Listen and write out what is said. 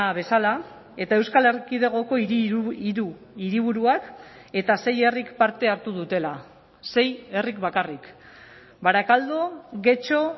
bezala eta euskal erkidegoko hiru hiriburuak eta sei herrik parte hartu dutela sei herrik bakarrik barakaldo getxo